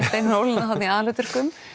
Steinunn Ólína þarna í aðalhlutverkum